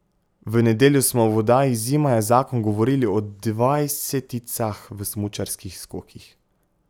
V nedeljo smo v oddaji Zima je zakon govorili o dvajseticah v smučarskih skokih.